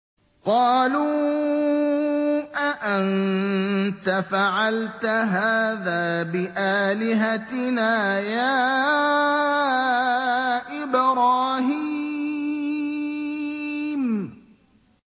قَالُوا أَأَنتَ فَعَلْتَ هَٰذَا بِآلِهَتِنَا يَا إِبْرَاهِيمُ